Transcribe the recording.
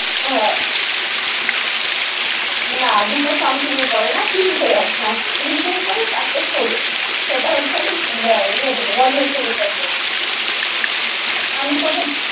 না, দুটো something এর পরে না তিনটে একটা আছে। তিনটের পরে চারটে ষোলো। সেটা হচ্ছে ইয়ে থেকে বজবজ ছাড়বে। আমি তোকে